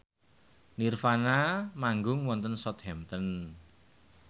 nirvana manggung wonten Southampton